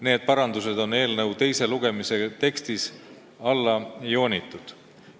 Need parandused on eelnõu teise lugemise tekstis alla joonitud.